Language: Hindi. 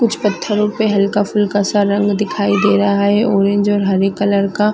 कुछ पत्थरो पे हल्का-फुल्का सा रंग दिखाई दे रहा है ऑरेंज और हरे कलर का--